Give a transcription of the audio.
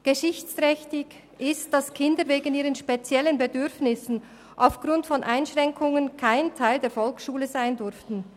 Geschichtsträchtig ist, dass Kinder wegen ihrer speziellen Bedürfnisse aufgrund von Einschränkungen kein Teil der Volksschule sein durften.